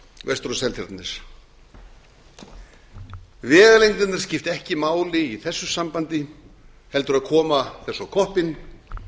vestur á seltjarnarnes vegalengdirnar skipta ekki máli í þessu sambandi heldur að koma þessu á koppinn